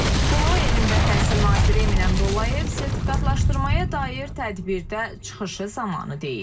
Bunu Elm və Təhsil Naziri Emin Əmrullayev sertifikatlaşdırmaya dair tədbirdə çıxışı zamanı deyib.